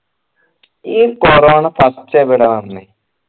ഈ corona first എവിടേയ വന്നേ